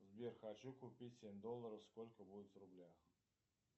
сбер хочу купить семь долларов сколько будет в рублях